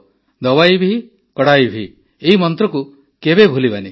ଦୱାଇ ଭିକଡ଼ାଇ ଭି ଏହି ମନ୍ତ୍ରକୁ କେବେ ଭୁଲିବା ନାହିଁ